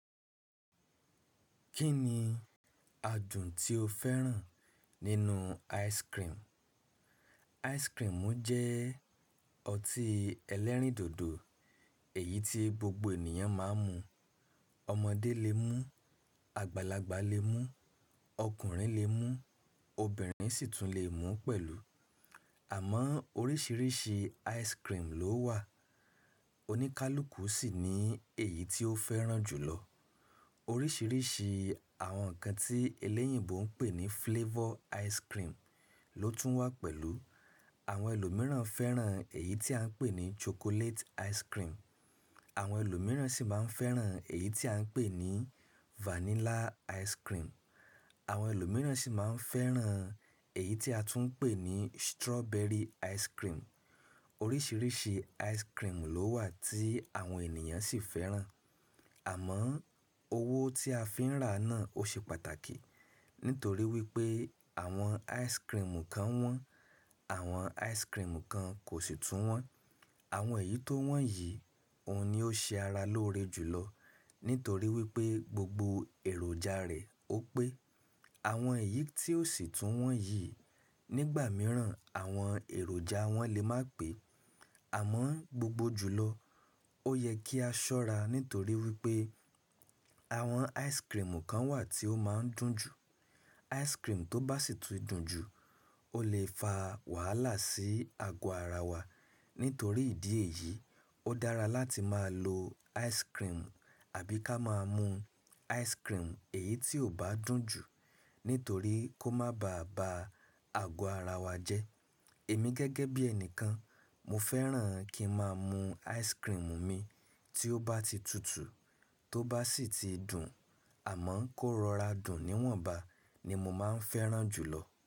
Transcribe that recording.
Kí ni adùn tí o fẹ́ràn nínú ice cream? Wara didi jẹ́ ọtí elérìndòdò, èyí tí gbogbo ènìyàn máa ń mu. Ọmọdé lè mú, àgbàlagbà lè mú, ọkùnrin lè mú, obìnrin sì tún lè mú pẹ̀lú. Àmọ́ oríṣiríṣi ice cream ló wà. Oníkálukú sì ní èyí tí ó fẹ́ràn jùlọ. Oríṣiríṣi àwọn nǹkan tí elẹ́yìnbo ń pè ní flavor ice cream ló tún wà pẹ̀lú. Àwọn ẹlòmíràn fẹ́ràn èyí tí à ń pè ní sokolaiti wara didi. Àwọn ẹlòmíràn sì máa ń fẹ́ràn èyí tí à ń pè ní vanilla ice cream. Àwọn ẹlòmíràn sì máa ń fẹ́ràn èyí tí a tún ń pè ní strawberry ice cream. Oríṣiríṣi ice cream ló wà tí àwọn ènìyàn sì fẹ́ràn. Àmọ́ owó tí a fi ń ra náà ó ṣe pàtàkì. Nítorí wípé àwọn ice cream kan wọ́n, àwọn ice cream kan kò sì tún wọ́n. Àwọn èyí tó wọ́n yìí, òun ni ó ṣe ara lóore jùlọ. Nítorí wípé gbogbo èròjà rẹ̀ ó pé. Àwọn èyí tí ó sì tún wọ́n yìí, nígbà mìíràn àwọn èròjà wọn lè má pé. Àmọ́ gbogbo jùlọ ó yẹ kí a ṣọ́ra. Nítorí wípé àwọn ice cream kan wà tí ó máa ń dùn jù. Wara didi tó bá sì ti dùn jù o lè fa wàhálà sí ago ara wa. Nítorí ìdí èyí, ó dára láti máa lo wara didi àbí ká máa mú wara didi èyí tí ò bá dùn jù. Nítorí kó má ba à ba ago ara wa jẹ́. Èmi gẹ́gẹ́ bí ẹnìkan, mo fẹ́ràn kí ń máa mú wara didi mi tí ó bá ti tutù, tó bá sì ti dùn, àmọ́ kó rọra dùn níwọ̀nbà ni mo máa ń fẹ́ràn jùlọ.